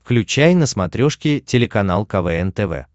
включай на смотрешке телеканал квн тв